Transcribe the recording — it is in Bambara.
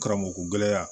Karamɔgɔgɛra